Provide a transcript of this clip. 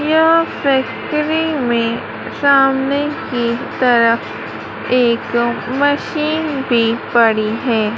यह फैक्ट्री में सामने की तरफ एक मशीन भी पड़ी है।